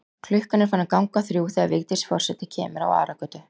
Klukkan er farin að ganga þrjú þegar Vigdís forseti kemur á Aragötu.